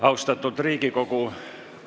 Austatud Riigikogu!